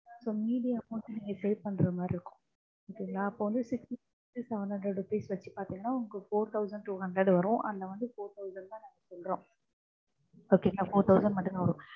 இப்போ மீதி amount நீங்க save பண்ற மாதிரி இருக்கும். அப்போ வந்து six fifty seven hundred வச்சு பாத்தீங்கன்னா உங்களுக்கு four thousand two hundred வரும். அதுல வந்து four thousand தா நாங்க சொல்றோம்.